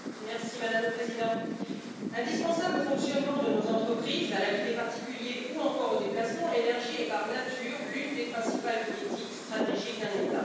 Madame la Présidente, indispensable au fonctionnement de nos entreprises, à la vie des particuliers ou encore aux déplacements, l'énergie est, par nature, l'une des principales politiques stratégiques d'un État.